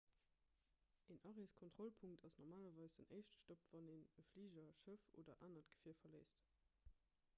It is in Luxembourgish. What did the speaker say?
en areeskontrollpunkt ass normalerweis den éischte stopp wann een e fliger schëff oder anert gefier verléisst